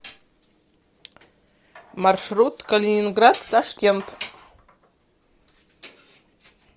маршрут калининград ташкент